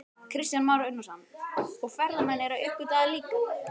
Kristján Már Unnarsson: Og ferðamenn eru að uppgötva það líka?